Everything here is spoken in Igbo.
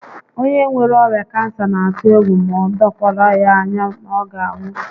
Onye nwere ọrịa kansa n'atụ egwu ma o dokwara ya anya na ọ ga anwụ